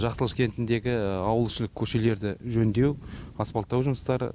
жақсықылыш кентіндегі ауылішілік көшелерді жөндеу асфальттау жұмыстары